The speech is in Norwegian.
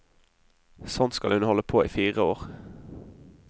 Sånn skal hun holde på i fire år.